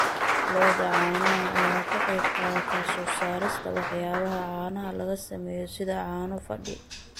Lo'da caanaha ayaa ka qayb qaadata soo saarista waxyaabaha caanaha laga sameeyo sida caano fadhi.